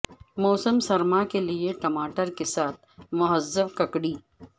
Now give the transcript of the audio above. موسم سرما کے لئے ٹماٹر کے ساتھ مہذب ککڑی